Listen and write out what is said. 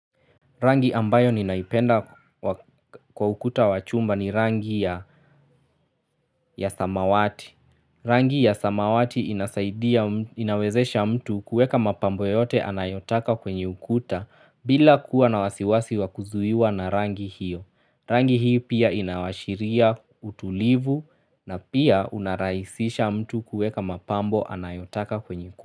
Rangi ambayo ninaipenda kwa ukuta wachumba ni rangi ya samawati. Rangi ya samawati inasaidia inawezesha mtu kuweka mapambo yoyote anayotaka kwenye ukuta bila kuwa na wasiwasi wakuzuiwa na rangi hiyo. Rangi hii pia inawashiria utulivu na pia unarahisisha mtu kuweka mapambo anayotaka kwenye ukuta.